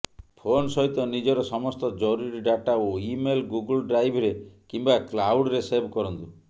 phone ସହିତ ନିଜର ସମସ୍ତ ଜରୁରୀ ଡାଟା ଓ ଇମେଲ ଗୁଗଲ ଡ୍ରାଇଭରେ କିମ୍ବା କ୍ଲାଉଡ଼ରେ ସେଭ କରନ୍ତୁ